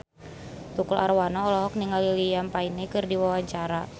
Tukul Arwana olohok ningali Liam Payne keur diwawancara